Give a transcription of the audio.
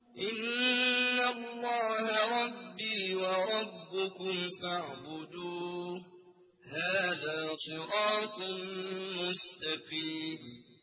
إِنَّ اللَّهَ رَبِّي وَرَبُّكُمْ فَاعْبُدُوهُ ۗ هَٰذَا صِرَاطٌ مُّسْتَقِيمٌ